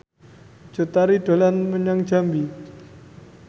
Cut Tari dolan menyang Jambi